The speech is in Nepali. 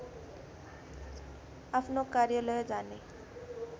आफ्नो कार्यालय जाने